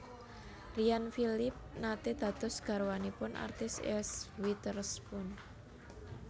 Ryan Phillippe nate dados garwanipun artis Eese Witherspoon